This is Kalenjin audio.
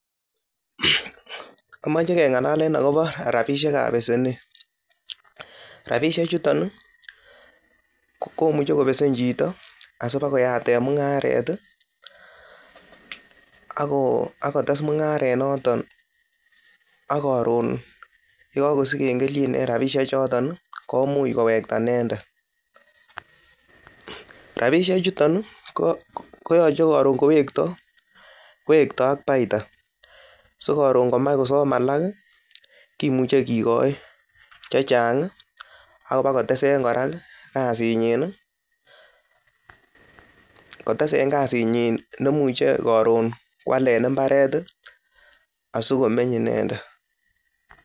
AMoche keng'alalen agobo rabishek ab besenet, rabishek chuton komuche kobesen chito asibakoyaten mung'aret ak kotes mung'aranoton ak koron ye kagosigen kelchin en rabishek choton komuch kowekta inendet. Rabishek chuton koyoche koron ingowekto kowekto ak baita, sikoron kamach kosom alak kimuche kigoi che chang ak kobakotesen kora kasinyin, nemuche koron koalen mbaret asikomeny inendet.